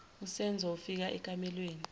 usenzo ufika ekamelweni